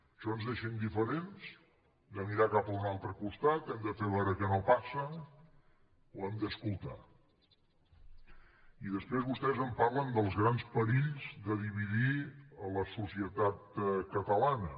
això ens deixa indiferents hem de mirar cap a un altre costat hem de fer veure que no passa o hem d’escoltar i després vostès em parlen dels grans perills de dividir la societat catalana